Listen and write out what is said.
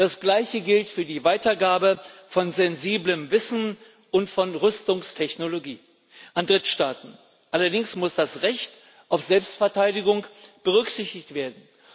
Das gleiche gilt für die Weitergabe von sensiblem Wissen und von Rüstungstechnologie an Drittstaaten. Allerdings muss das Recht auf Selbstverteidigung berücksichtigt werden.